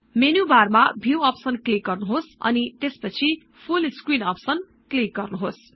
menu bar मा Viewअप्सन click गर्नुहोस् अनि त्यसपछि फुल Screenअप्सन क्लिक् गर्नुहोस्